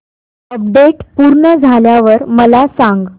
update पूर्ण झाल्यावर मला सांग